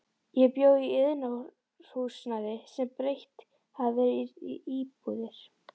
Ég bjó í iðnaðarhúsnæði sem breytt hafði verið í íbúðir.